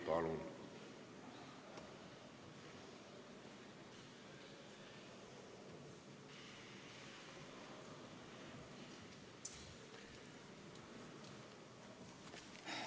Palun!